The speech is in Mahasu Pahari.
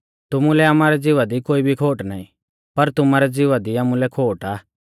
तुमुलै आमारै ज़िवा दी कोई भी खोट नाईं पर तुमारै ज़िवा दी आमुलै खोट आ